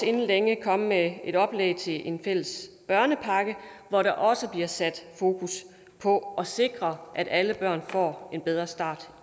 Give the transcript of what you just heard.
inden længe komme med et oplæg til en fælles børnepakke hvor der også bliver sat fokus på at sikre at alle børn får en bedre start